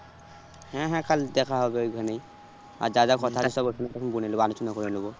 হ্যাঁ হ্যাঁ কাল দেখা হবে ওই খানেই আর যা যা সব ঐখানে তখন তখন বলে নেবো। আলোচনা করে নেবো।